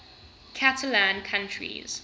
catalan countries